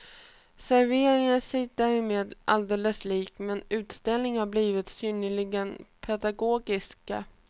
Serveringen är sig därmed alldeles lik, men utställningarna har blivit synnerligen pedagogiska.